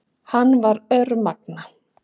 Hann var örmagna.